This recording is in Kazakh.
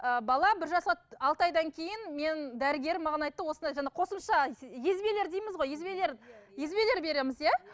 ыыы бала бір жасқа алты айдан кейін менің дәрігерім маған айтты осындай жаңа қосымша езбелер дейміз ғой езбелер езбелер береміз иә